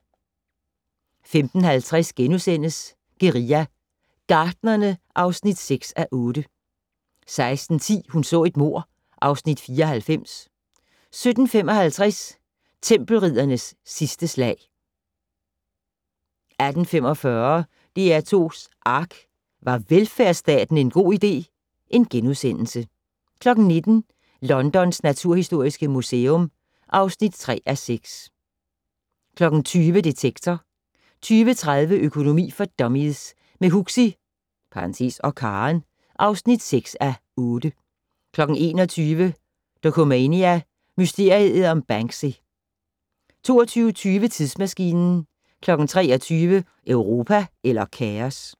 15:40: Guerilla Gartnerne (6:8)* 16:10: Hun så et mord (Afs. 94) 17:55: Tempelriddernes sidste slag 18:45: DR2's ARK - Var velfærdsstaten en god idé? * 19:00: Londons naturhistoriske museum (3:6) 20:00: Detektor 20:30: Økonomi for dummies - med Huxi (og Karen) (6:8) 21:00: Dokumania: Mysteriet om Banksy 22:20: Tidsmaskinen 23:00: Europa eller kaos?